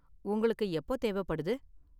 உங்களுக்கு எப்போ தேவைப்படுது?